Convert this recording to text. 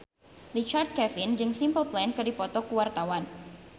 Richard Kevin jeung Simple Plan keur dipoto ku wartawan